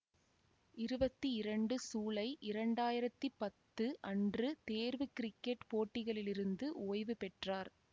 இருவத்தி இரண்டு சூலை இரண்டாயிரத்தி பத்து அன்று தேர்வு கிரிக்கெட் போட்டிகளிலிருந்து ஓய்வு பெற்றார்